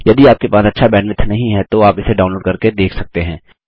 यदि आपके पास अच्छा बैंडविड्थ नहीं है तो आप इसे डाउनलोड करके देख सकते हैं